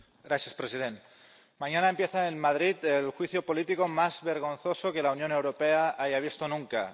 Señor presidente, mañana empieza en Madrid el juicio político más vergonzoso que la Unión Europea haya visto nunca.